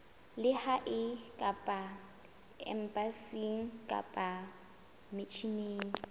lehae kapa embasing kapa misheneng